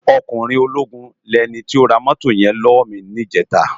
Òkúnrin ólógún ni èni tó rá mótó yèn lòwò mi nijètá